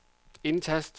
indtast